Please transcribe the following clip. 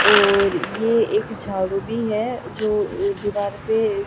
और ये एक झाड़ू भी है जो अ दीवार पे ए--